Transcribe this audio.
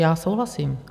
- Já souhlasím.